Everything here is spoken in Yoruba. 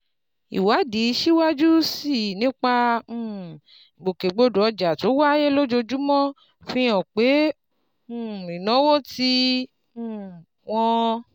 Ìwádìí síwájú sí i nípa um ìgbòkègbodò ọjà tó wáyé lójoojúmọ́ fi hàn pé um ìnáwó tí um wọ́n